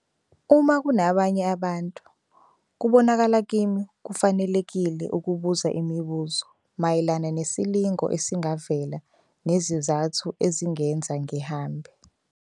Uma kunabanye abantu, kubonakala kimi kufanelekile ukubuza imibuzo mayelana nesilingo esingavela nezizathu ezingenza ngihambe.